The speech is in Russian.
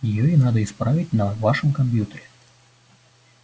её и надо исправить на вашем компьютере